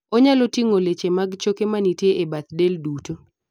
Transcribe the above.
onyalo ting'o leche mag choke manitie e bath del duto